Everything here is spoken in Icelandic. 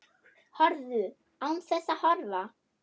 Horfðu. án þess að horfa.